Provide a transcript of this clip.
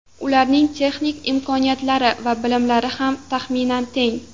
Ularning texnik imkoniyatlari va bilimlari ham taxminan teng.